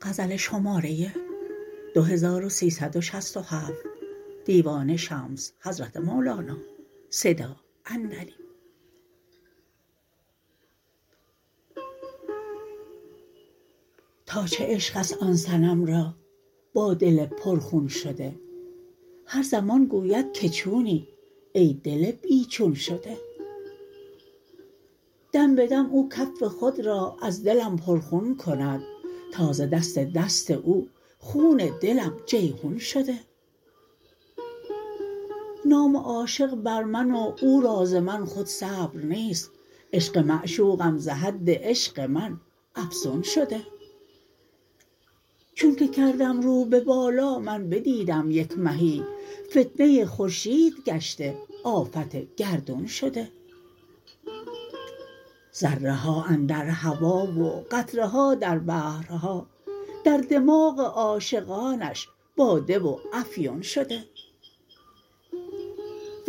تا چه عشق است آن صنم را با دل پرخون شده هر زمان گوید که چونی ای دل بی چون شده دم به دم او کف خود را از دلم پرخون کند تا ز دست دست او خون دلم جیحون شده نام عاشق بر من و او را ز من خود صبر نیست عشق معشوقم ز حد عشق من افزون شده چونک کردم رو به بالا من بدیدم یک مهی فتنه خورشید گشته آفت گردون شده ذره ها اندر هوا و قطره ها در بحرها در دماغ عاشقانش باده و افیون شده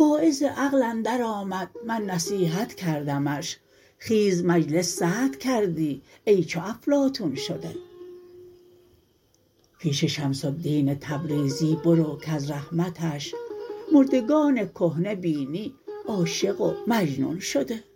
واعظ عقل اندرآمد من نصیحت کردمش خیز مجلس سرد کردی ای چو افلاطون شده پیش شمس الدین تبریزی برو کز رحمتش مردگان کهنه بینی عاشق و مجنون شده